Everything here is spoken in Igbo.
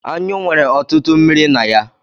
Anyụ nwere ọtụtụ mmiri na ya.